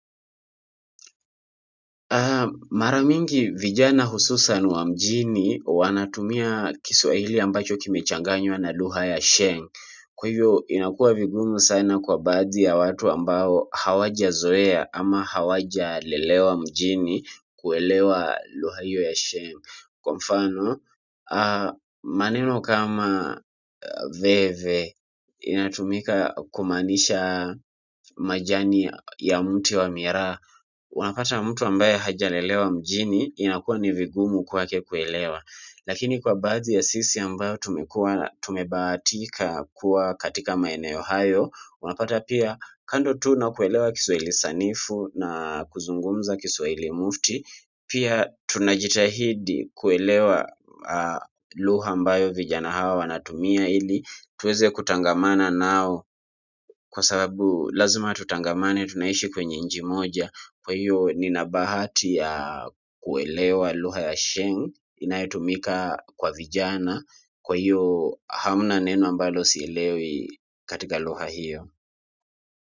Mara mingi vijana hususan wa mjini wanatumia Kiswahili ambacho kimechanganywa na luga ya sheng. Kwa hivyo inakua vigumu sana kwa baadhi ya watu ambao hawaja zoea ama hawaja lelewa mjini kuelewa lugha hiyo ya sheng. Kwa mfano maneno kama veve inatumika kumaanisha majani ya mti wa miraha. Unapata mtu ambaye hajalelewa mjini inakua ni vigumu kwake kuelewa lakini kwa baadhi sisi ambayo tumekua tumebahatika kuwa katika maeneo hayo unapata pia kando tu nakuelewa Kiswahili sanifu na kuzungumza Kiswahili mufti pia tunajitahidi kuelewa lugha ambayo vijana hawa wanatumia ili tuweze kutangamana nao kwa sababu lazima tutangamane tunaishi kwenye nchi moja kwa hiyo nina bahati ya kuelewa lugha ya sheng inayoitumika kwa vijana kwa hiyo hamna neno ambalo sielewi katika lugha hiyo.